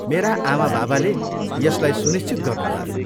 मेरा आमाबाबाले यसलाई सुनिश्चित गर्नुभयो।